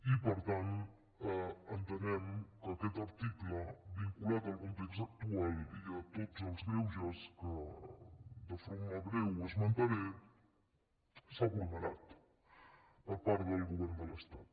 i per tant entenem que aquest article vinculat al context actual i a tots els greuges que de forma breu esmentaré l’ha vulnerat el govern de l’estat